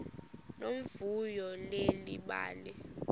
nomvuyo leli bali